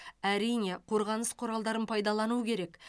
әрине қорғаныс құралдарын пайдалану керек